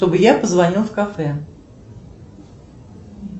чтобы я позвонил в кафе